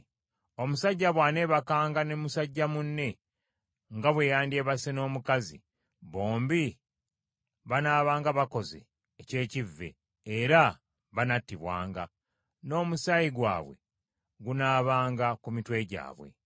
“ ‘Omusajja bw’aneebakanga ne musajja munne nga bwe yandyebase n’omukazi, bombi banaabanga bakoze eky’ekivve; era banattibwanga, n’omusaayi gwabwe gunaabanga ku mitwe gyabwe.